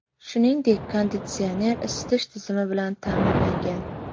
Shuningdek, konditsioner, isitish tizimi bilan ta’minlangan.